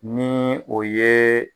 Ni o yee